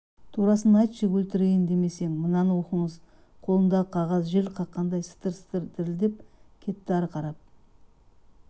турасын айтшы өлтірейін демесең мынаны оқыңыз қолындағы қағаз жел қаққандай сытыр-сытыр дірілдеп кетті ары қарап